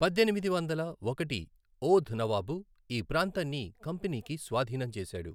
పద్దెనిమిది వందల ఒకటి ఓధ్ నవాబు ఈ ప్రాంతాన్ని కంపెనీకి స్వాధీనం చేసాడు.